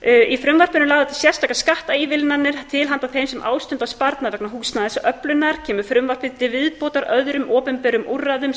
í frumvarpinu eru lagðar til sérstakar skattaívilnanir til handa þeim sem ástunda sparnað vegna húsnæðisöflunar kemur frumvarpið því til viðbótar öðrum opinberum úrræðum